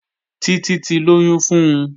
Títí ti lóyún fun